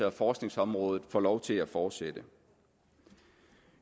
og forskningsområdet får lov til at fortsætte